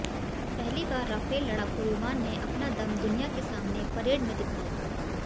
पहली बार राफेल लड़ाकू विमान ने अपना दम दुनिया के सामने परेड में दिखाया